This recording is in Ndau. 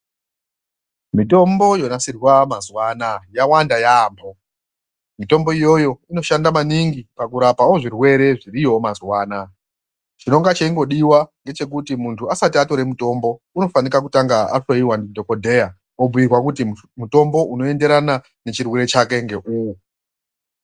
Mitombo yonasirwa mazuwa anaya yawanda yaambo. Mitombo iyoyoyo inoshande maningi pakurapawo zvirwere zviriyowo mazuwa anaya. Chinenga cheingodiwa ndechekuti muntu asati atore mitombo anofanika kutanga ahloyiwa ndidhokodheya obhuyirwa kuti mutombo unkyenderana nechirwere chake ngeuwu.